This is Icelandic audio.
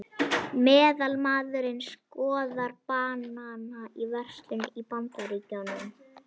Meðalmaðurinn skoðar banana í verslun í Bandaríkjunum.